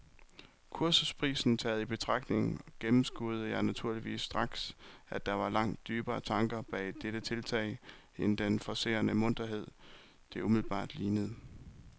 Kursusprisen taget i betragtning gennemskuede jeg naturligvis straks, at der var langt dybere tanker bag dette tiltag end den forcerede munterhed, det umiddelbart lignede.